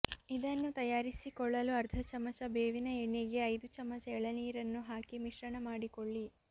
ಇದನ್ನು ತಯಾರಿಸಿಕೊಳ್ಳಲು ಅರ್ಧ ಚಮಚ ಬೇವಿನ ಎಣ್ಣೆಗೆ ಐದು ಚಮಚ ಎಳನೀರನ್ನು ಹಾಕಿ ಮಿಶ್ರಣ ಮಾಡಿಕೊಳ್ಳಿ